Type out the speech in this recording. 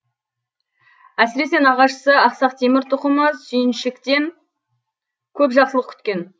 әсіресе нағашысы ақсақ темір тұқымы сүйіншіктен көп жақсылық күткен